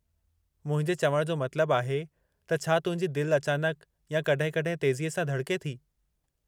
मुंहिंजे चवणु जो मतिलबु आहे त छा तुंहिंजी दिलि अचानक या कॾहिं कॾहिं तेज़ीअ सां धड़के थी?